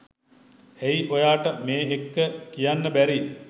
ඇයි ඔයාට මේ එක්ක කියන්න බැරි